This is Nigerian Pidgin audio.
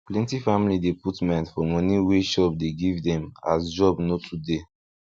plenty family dey put mind for money wey shop dey give dem as job no too dey